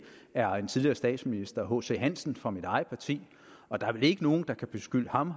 er en tidligere statsminister hc hansen fra mit eget parti og der er vel ikke nogen der kan beskylde ham